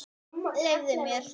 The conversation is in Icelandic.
Leyfðu mér!